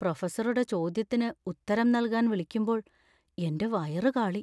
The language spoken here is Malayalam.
പ്രൊഫസറുടെ ചോദ്യത്തിന് ഉത്തരം നൽകാൻ വിളിക്കുമ്പോൾ എന്‍റെ വയറു കാളി .